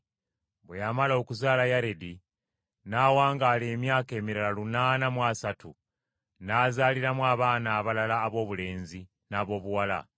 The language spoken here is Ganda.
Bwe yamala okuzaala Yaredi n’awangaala emyaka emirala lunaana mu asatu n’azaaliramu abaana abalala aboobulenzi n’aboobuwala.